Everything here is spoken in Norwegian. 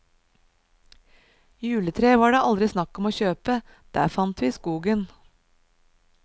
Juletre var det aldri snakk om å kjøpe, det fant vi i skogen.